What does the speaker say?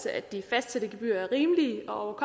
at de fastsatte gebyrer er rimelige og